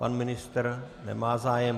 Pan ministr nemá zájem.